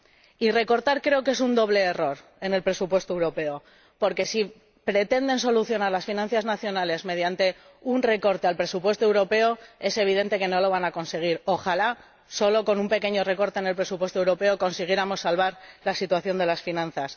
Y recortar creo que es un doble error en el presupuesto europeo, porque si pretenden solucionar las finanzas nacionales mediante un recorte del presupuesto europeo, es evidente que no lo van a conseguir —¡ojalá solo con un pequeño recorte en el presupuesto europeo consiguiéramos salvar la situación de las finanzas!—.